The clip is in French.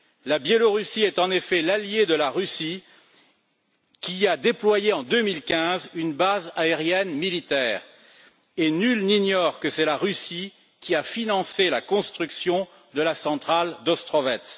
La Biélorussie est en effet l'alliée de la Russie, qui y a déployé en 2015 une base aérienne militaire, et nul n'ignore que c'est la Russie qui a financé la construction de la centrale d'Ostrovets.